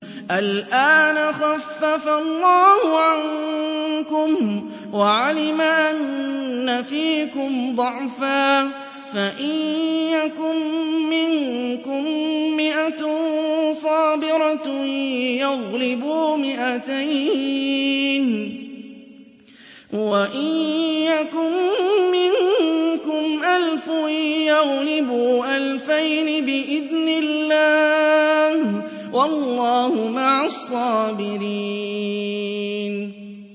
الْآنَ خَفَّفَ اللَّهُ عَنكُمْ وَعَلِمَ أَنَّ فِيكُمْ ضَعْفًا ۚ فَإِن يَكُن مِّنكُم مِّائَةٌ صَابِرَةٌ يَغْلِبُوا مِائَتَيْنِ ۚ وَإِن يَكُن مِّنكُمْ أَلْفٌ يَغْلِبُوا أَلْفَيْنِ بِإِذْنِ اللَّهِ ۗ وَاللَّهُ مَعَ الصَّابِرِينَ